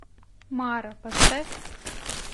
мара поставь